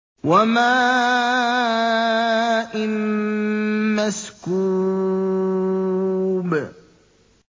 وَمَاءٍ مَّسْكُوبٍ